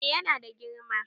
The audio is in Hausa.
Eh yana da girma